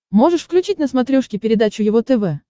можешь включить на смотрешке передачу его тв